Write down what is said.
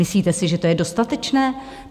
Myslíte si, že to je dostatečné?